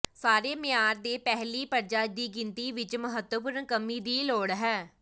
ਸਾਰੇ ਮਿਆਰ ਦੇ ਪਹਿਲੀ ਪਰਜਾ ਦੀ ਗਿਣਤੀ ਵਿੱਚ ਮਹੱਤਵਪੂਰਨ ਕਮੀ ਦੀ ਲੋੜ ਹੈ